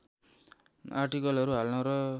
आर्टिकलहरू हाल्न र